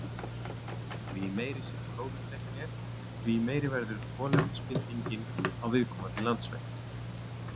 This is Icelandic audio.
Því meiri sem gróðurþekjan er, því meiri verður kolefnisbindingin á viðkomandi landsvæði.